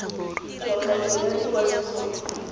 hwafatso ya ikwadiso go di